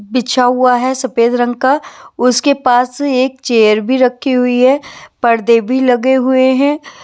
बिछा हुआ है सफेद रंग का उसके पास एक चेयर भी रखी हुई है पर्दे भी लगे हुए हैं ।